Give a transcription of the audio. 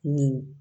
Nin